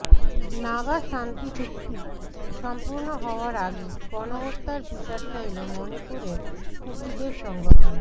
নাগা শান্তি চুক্তি সম্পূর্ণ হওয়ার আগে গণহত্যার বিচার চাইল মণিপুরের কুকিদের সংগঠন